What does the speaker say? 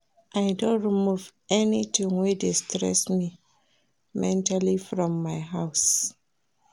I don remove anything wey dey stress me mentally from my house